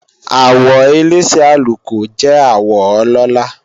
Àwọ elése àlùkò jẹ́ àwọ ọlọ́la